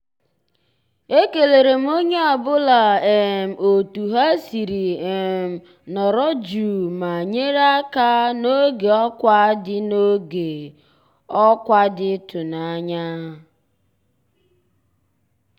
e kéléré m ónyé ọ́ bụ́là um ótú há siri um nọ̀rọ́ jụ́ụ́ má nyéré àká n'ògé ọ́kwá dị́ n'ògé ọ́kwá dị́ ị́tụ́nányá.